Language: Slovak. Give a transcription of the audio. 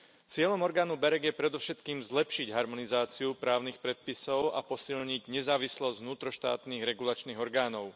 Cieľom orgánu BEREC je predovšetkým zlepšiť harmonizáciu právnych predpisov a posilniť nezávislosť vnútroštátnych regulačných orgánov.